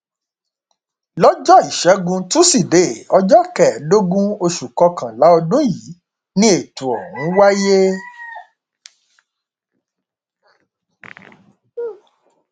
lọjọ ìṣẹgun tusidee ọjọ kẹẹẹdógún oṣù kọkànlá ọdún yìí ni ètò ọhún wáyé